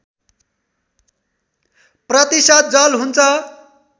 प्रतिशत जल हुन्छ